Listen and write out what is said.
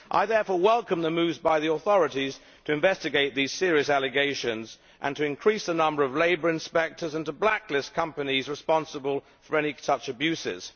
I therefore welcome the moves by the authorities to investigate these serious allegations, to increase the number of labour inspectors and to blacklist companies responsible for any such abuses.